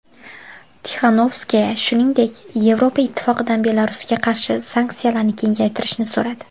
Tixanovskaya, shuningdek, Yevropa Ittifoqidan Belarusga qarshi sanksiyalarni kengaytirishni so‘radi.